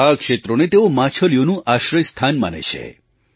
આ ક્ષેત્રોને તેઓ માછલીઓનું આશ્રયસ્થાન માને છે